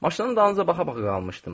Maşının dalınca baxa-baxa qalmışdım.